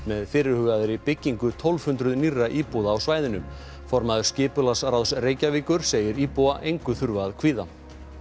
með fyrirhugaðri byggingu tólf hundruð nýrra íbúða á svæðinu formaður skipulagsráðs Reykjavíkur segir íbúa engu þurfa að kvíða